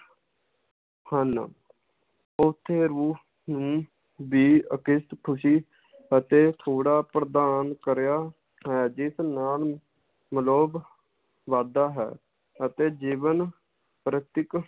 ਹਨ ਓਥੇ ਰੂਹ ਨੂੰ ਵੀ ਖੁਸ਼ੀ ਅਤੇ ਥੋੜਾ ਪ੍ਰਧਾਨ ਕਰਿਆ ਹੈ ਜਿਸ ਨਾਲ ਵੱਧਦਾ ਹੈ ਅਤੇ ਜੀਵਨ ਪ੍ਰਤੀਕ